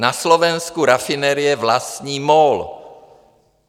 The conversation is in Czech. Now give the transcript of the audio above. Na Slovensku rafinerie vlastní MOL.